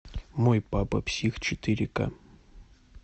мой папа псих четыре ка